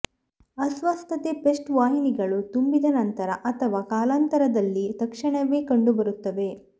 ಅಸ್ವಸ್ಥತೆ ಪೇಸ್ಟ್ ವಾಹಿನಿಗಳು ತುಂಬಿದ ನಂತರ ಅಥವಾ ಕಾಲಾನಂತರದಲ್ಲಿ ತಕ್ಷಣವೇ ಕಂಡುಬರುತ್ತವೆ